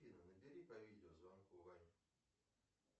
афина набери по видео звонку ваню